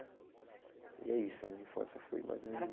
E é isso, a minha infância foi mais ou menos isso.